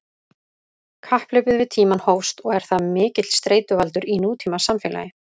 Kapphlaupið við tímann hófst og er það mikill streituvaldur í nútímasamfélagi.